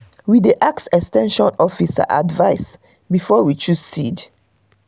we dey ask ex ten sion officer advice before we choose seed.